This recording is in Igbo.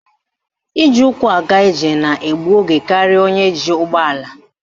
Iji ụkwụ aga ije na egbu oge karịa onye ji ụgbọala